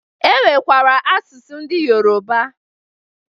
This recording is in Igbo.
E nwekara asụsụ ndị Yoroba